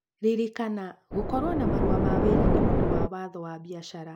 Ririkana, gũkorũo na marũa ma wĩra nĩ ũndũ wa waatho wa biacara.